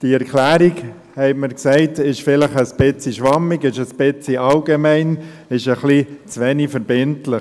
Die Erklärung ist vielleicht ein wenig schwammig und allgemein und etwas zu wenig verbindlich.